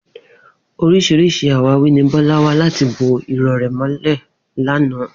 Orís̩irís̩i àwáwí ni Bó̩lá wá láti bo iró̩ rè̩ mó̩lè̩ lánàá